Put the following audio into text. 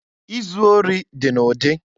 Izu ori dị n'ụdị.